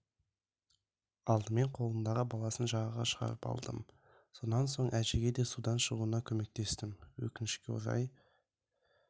алдымен қолындағы баласын жағаға шығарып алдым сонан соң әжеге де судан шығуына көмектестім өкінішке орай